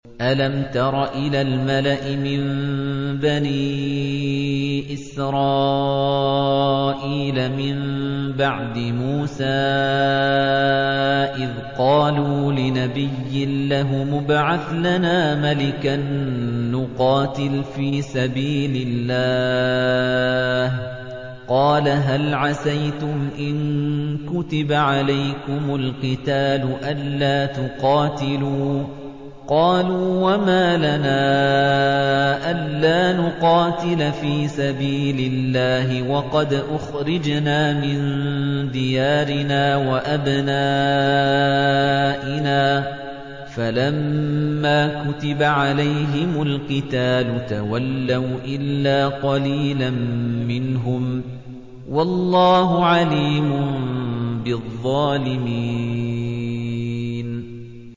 أَلَمْ تَرَ إِلَى الْمَلَإِ مِن بَنِي إِسْرَائِيلَ مِن بَعْدِ مُوسَىٰ إِذْ قَالُوا لِنَبِيٍّ لَّهُمُ ابْعَثْ لَنَا مَلِكًا نُّقَاتِلْ فِي سَبِيلِ اللَّهِ ۖ قَالَ هَلْ عَسَيْتُمْ إِن كُتِبَ عَلَيْكُمُ الْقِتَالُ أَلَّا تُقَاتِلُوا ۖ قَالُوا وَمَا لَنَا أَلَّا نُقَاتِلَ فِي سَبِيلِ اللَّهِ وَقَدْ أُخْرِجْنَا مِن دِيَارِنَا وَأَبْنَائِنَا ۖ فَلَمَّا كُتِبَ عَلَيْهِمُ الْقِتَالُ تَوَلَّوْا إِلَّا قَلِيلًا مِّنْهُمْ ۗ وَاللَّهُ عَلِيمٌ بِالظَّالِمِينَ